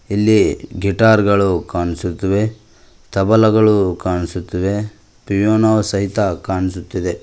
ಇಲ್ಲಿ ಗಿಟಾರ್ ಗಳು ಕಾಣಿಸುತ್ತಿವೆ ತಬಲಗಳು ಕಾಣಿಸುತ್ತಿವೆ ಪಿಯಾನೋ ಗಳು ಕಾಣಿಸುತ್ತಿವೆ.